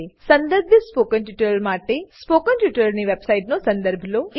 સંદર્ભિત સ્પોકન ટ્યુટોરીયલો માટે સ્પોકન ટ્યુટોરીયલની વેબસાઈટનો સંદર્ભ લો